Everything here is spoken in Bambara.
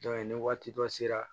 ni waati dɔ sera